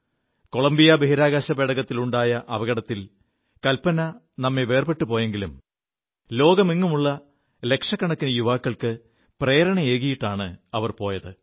Colombia ബഹിരാകാശ പേടകത്തിനുണ്ടായ അപകടത്തിൽ കൽപന നമ്മെ വേർപെു പോയെങ്കിലും ലോകമെങ്ങുമുള്ള ലക്ഷക്കണക്കിന് യുവാക്കൾക്ക് പ്രേരണയേകിയിാണു അവർ പോയത്